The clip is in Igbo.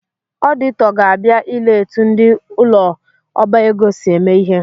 Ọdịtọ ga-abia ile etu ndị ụ̣lọọbaego si eme ihe